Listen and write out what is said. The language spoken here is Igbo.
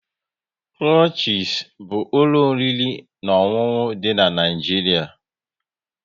Krushies bụ ụlọ oriri na ọṅụṅụ dị n'Naijiria